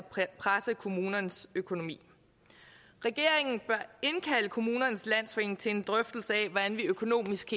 presse kommunernes økonomi regeringen bør indkalde kommunernes landsforening til en drøftelse af hvordan vi økonomisk